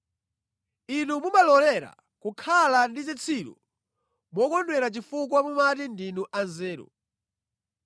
Inu mumalolera kukhala ndi zitsiru mokondwera chifukwa mumati ndinu anzeru!